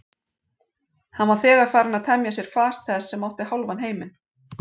Hann var þegar farinn að temja sér fas þess sem átti hálfan heiminn.